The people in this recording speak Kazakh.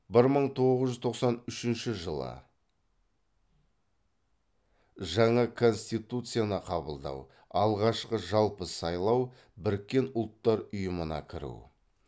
бір мың тоғыз жүз тоқсан үшінші жаңа конституцияны қабылдау алғашқы жалпы сайлау біріккен ұлттар ұйымына кіру